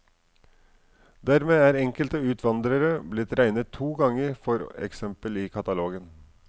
Dermed er enkelte utvandrere blitt regnet to ganger for eksempel i katalogen.